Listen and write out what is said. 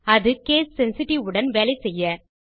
அது gas sensitivity உடன் வேலை செய்ய